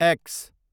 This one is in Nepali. एक्स